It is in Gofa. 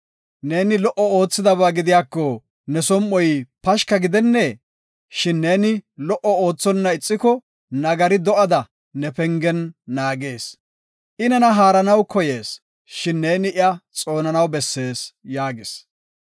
Neeni lo77o oothidaba gidiyako, ne som7oy pashka gidennee? Shin neeni lo77o oothonna ixiko, nagari do7ada ne pengen naagees. I nena haaranaw koyees, shin neeni iya xoonanaw bessees” yaagis.